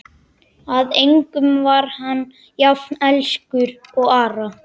Að engum var hann jafn elskur og Ara.